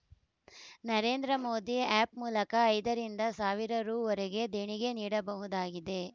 Narendra Modi app ಮೂಲಕ ಐದರಿಂದ ಸಾವಿರ ರುವರೆಗೂ ದೇಣಿಗೆ ನೀಡಬಹುದಾಗಿದೆ